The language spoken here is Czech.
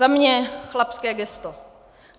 Za mě chlapské gesto.